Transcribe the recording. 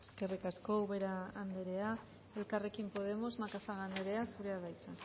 eskerrik asko ubera andrea elkarrekin podemos macazaga andrea zurea da hitza